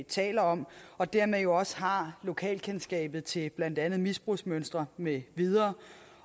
taler om og dermed også har lokalkendskabet til blandt andet misbrugsmønstre med videre